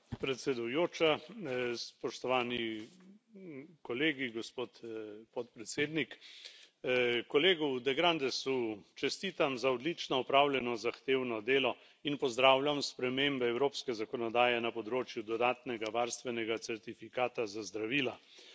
Gospa predsedujoča, spoštovani kolegi, gospod podpredsednik. Kolegu de Grandesu čestitam za odlično opravljeno zahtevno delo in pozdravljam spremembe evropske zakonodaje na področju dodatnega varstvenega certifikata za zdravila.